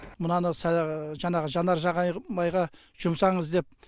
мынаны жаңағы жанар жағармайға жұмсаңыз деп